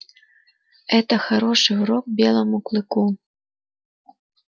это хороший урок белому клыку